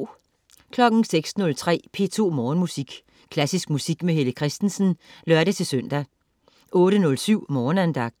06.03 P2 Morgenmusik. Klassisk musik med Helle Kristensen (lør-søn) 08.07 Morgenandagten